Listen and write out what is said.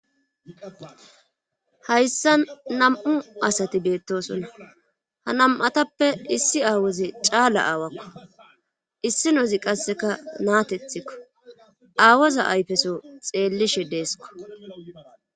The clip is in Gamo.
hayssa nam7u asati beettosonna ha nam7atappe issi aawoze caala aawakko issi nozi qasseka naatethikko aawoza ayfeso xeellishe deesko